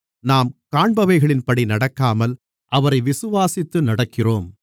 நாம் காண்பவைகளின்படி நடக்காமல் அவரை விசுவாசித்து நடக்கிறோம்